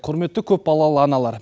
құрметті көпбалалы аналар